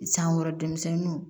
San wɛrɛ denmisɛnninw